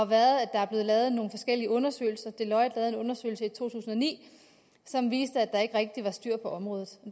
været at der er blevet lavet nogle forskellige undersøgelser deloitte lavede en undersøgelse i to tusind og ni som viste at der ikke rigtig var styr på området